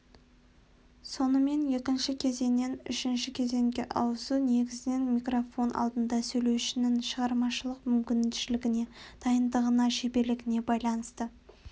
сонымен екінші кезеңнен үшінші кезеңге ауысу негізінен микрофон алдында сөйлеушінің шығармашылық мүмкіншілігіне дайындығына шеберлігіне байланысты